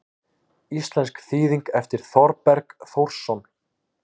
Íslensk þýðing eftir Þorberg Þórsson.